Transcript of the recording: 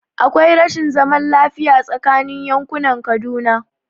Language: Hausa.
Akwai rashin zaman lafiya tsakanin yankunan Kaduna